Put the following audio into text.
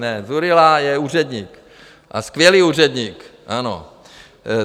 Ne, Dzurilla je úředník, a skvělý úředník, ano.